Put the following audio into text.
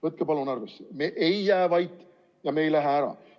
Võtke palun arvesse: me ei jää vait ja me ei lähe ära!